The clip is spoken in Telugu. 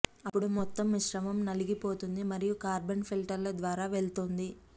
అప్పుడు మొత్తం మిశ్రమం నలిగిపోతుంది మరియు కార్బన్ ఫిల్టర్ల ద్వారా వెళుతుంది